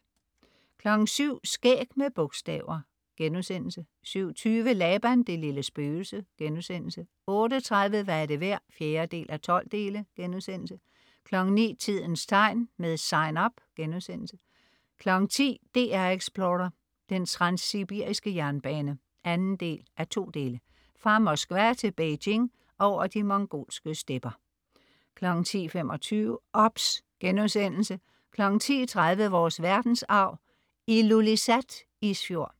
07.00 Skæg med bogstaver* 07.20 Laban det lille spøgelse* 08.30 Hvad er det værd? 4:12* 09.00 Tidens Tegn, med Sign Up* 10.00 DR Explorer: Den transsibiriske jernbane 2:2. Fra Moskva til Beijing over de mongolske stepper 10.25 OBS* 10.30 Vores verdensarv: Ilulissat Isfjord